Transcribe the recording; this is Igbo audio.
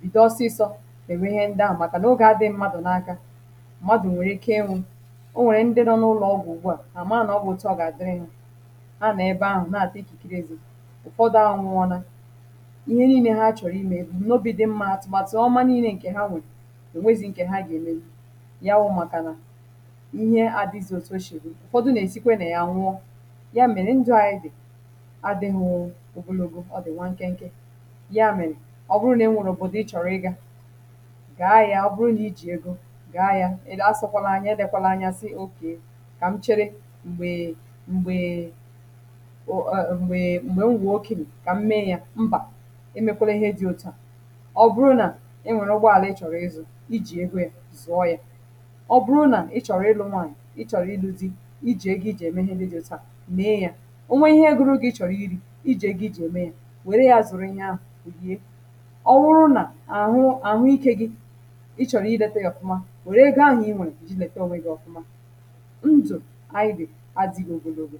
bìdo ọsịsọ ènwe ihe ndị à màkà nà ogè adị m̀madù n’aka màdù nwèrè ike enwù o nwèrè ndị dọọ n’ụlọ̀ ọgwụ̀ ugwu à hà maà nà ọgwụ̀ out ọ gà dịrị hà ha nà ebe ahụ̀ naà dị ikìkiri ezi ụ̀fọdụ ahụwụ ọlà ihe niine ha chọ̀rọ̀ imė ebu̇ nobì dị mma atụ̀ n’ènwèzi ǹkè ha gà-èmen ya wụ̇ màkà nà ihe àdịzị òtù o shì ụ̀fọdụ nà-èzikwe nà ya nwụọ ya mèrè ndụ̇ anyị dị̀ adịghụ òbòlàògȯ ọ dị̀ nwa ǹkẹ nke ya mèrè ọ bụrụ nà ị nwụ̇rụ̀ bụ̀dị chọ̀rọ̀ ịgȧ gà-ayȧ ọ̀ bụrụ nà ị jì egȯ gà-ayȧ ilu̇ àsọkwala anya edėkwala anyȧ sì okè kà m chere m̀gbè m̀gbè ùkine kà m mee yȧ mbà emèkwara ihe dị òtu à ijì egȯ yȧ zùọ yȧ ọ bụrụ nà ị chọ̀rọ̀ ịlụ̇ nwaànyị̀ ị chọ̀rọ̀ ịlụ̇ dị̇ i jì egȯ ị jì ème ihe niilė jì taà mee yȧ ò nwee ihe egȯrȯ gị̇ ị chọ̀rọ̀ ịrị̇ i jì egȯ ị jì ème yȧ wère yȧ zụrụ ihe ahụ̀ bụ̀ gie ọ wụrụ nà àhụ àhụikė gị ị chọ̀rọ̀ idėtė yȧ fụ̀ma wère egȯ ahụ̀ i nwèrè kà jì lèkè ȧnwė gị̇ ọ̀fụma ndụ̀ idè adị̇gu̇ ogologo